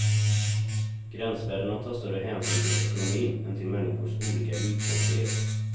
Gränsvärdena tar större hänsyn till ekonomin än till människors olika ljudkänslighet.